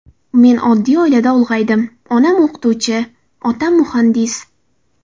Men oddiy oilada ulg‘aydim: onam o‘qituvchi, otam muhandis.